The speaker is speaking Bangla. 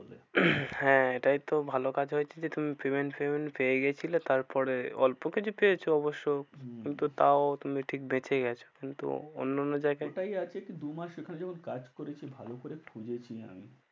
হ্যাঁ এটাই তো ভালো কাজ হয়েছে যে তুমি payment ফেমেন্ট পেয়ে গিয়েছিলে তারপরে অল্প কিছু পেয়েছো অবশ্য। হম কিন্তু তাও তুমি ঠিক বেঁচে গেছো কিন্তু অন্য অন্য জায়গায়, ওটাই আছে কি দু মাস ওখানে যখন কাজ করেছি ভালো করে খুঁজেছি আমি